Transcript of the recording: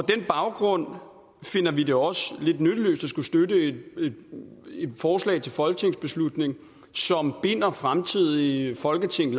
den baggrund finder vi det også lidt nytteløst at skulle støtte et forslag til folketingsbeslutning som binder fremtidige folketing